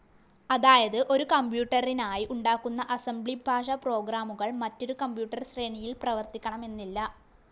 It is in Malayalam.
അതായത് ഒരു കംപ്യൂട്ടറിനായി ഉണ്ടാക്കുന്ന അസംബ്ലി ഭാഷ പ്രോഗ്രാമുകൾ മറ്റൊരു കമ്പ്യൂട്ടർ ശ്രേണിയിൽ പ്രവർത്തിക്കണമെന്നില്ല.